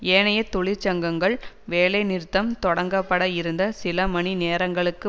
ஏனைய தொழிற்சங்கங்கள் வேலைநிறுத்தம் தொடங்கப்பட இருந்த சில மணி நேரங்களுக்கு